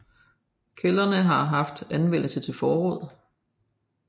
Kældrene har været anvendt til forråd